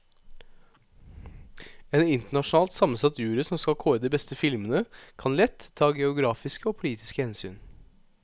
En internasjonalt sammensatt jury som skal kåre de beste filmene, kan lett ta geografiske og politiske hensyn.